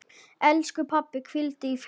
Elsku pabbi, hvíldu í friði.